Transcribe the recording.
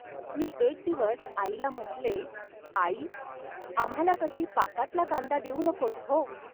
मी एक दिवस आईला म्हटले, "आई. आम्हांला कधी पाकातला कांदा देऊ नकोस, हो